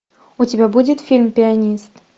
у тебя будет фильм пианист